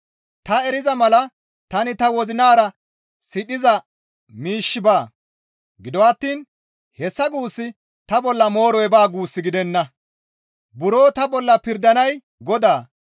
«Ta eriza mala tani ta wozinara sidhiza miishshi baa; gido attiin hessa guussi ta bolla mooroy baa» guus gidenna. Buro ta bolla pirdanay Godaa.